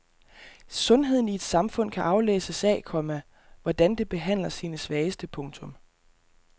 Sundheden i et samfund kan aflæses af, komma hvordan det behandler sine svageste. punktum